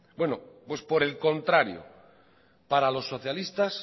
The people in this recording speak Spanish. pues por el contrario para los socialistas